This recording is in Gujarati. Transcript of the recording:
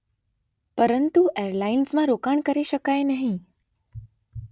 પરંતુ એરલાઇન્સમાં રોકાણ કરી શકાય નહીં.’